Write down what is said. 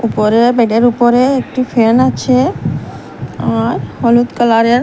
উপরে বেডের উপরে একটি ফ্যান আছে আর হলুদ কালারের।